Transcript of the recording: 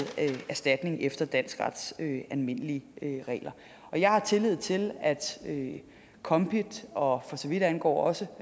erstatning efter dansk rets almindelige regler jeg har tillid til at kombit og for så vidt angår også